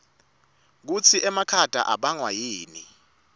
kutsi emakhata abangwa yini